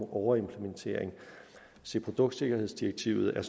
overimplementering se produktsikkerhedsdirektivet er